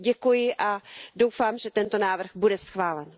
Děkuji a doufám, že tento návrh bude schválen.